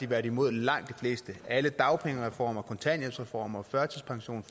været imod langt de fleste af dem alle dagpengereformer kontanthjælpsreformer førtidspensions